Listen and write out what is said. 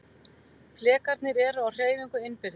Flekarnir eru á hreyfingu innbyrðis.